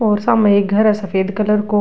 और सामने एक घर है सफ़ेद कलर को।